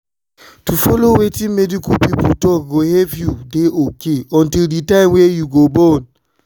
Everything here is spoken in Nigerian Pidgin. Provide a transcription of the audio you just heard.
to follow wetin medical pipo talk go help you dey ok until the time wey u go born.